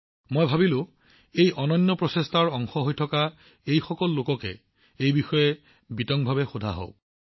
মই ভাবিছিলো এই অনন্য প্ৰচেষ্টাৰ অংশ হৈ থকা লোকসকলৰ পৰা এই বিষয়ে বিতংভাৱে কথা নাপাতোনো কিয়